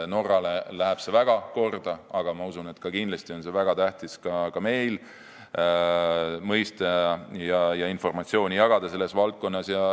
Norrale läheb see väga korda, aga ma usun, et ka meil on väga tähtis seda valdkonda mõista ja selle kohta informatsiooni jagada.